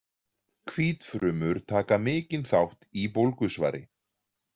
Hvítfrumur taka mikinn þátt í bólgusvari.